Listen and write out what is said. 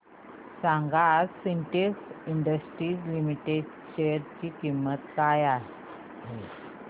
सांगा आज Sintex Industries Limited च्या शेअर ची किंमत काय आहे